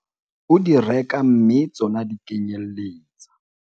o di reka mme tsona di kenyelletsa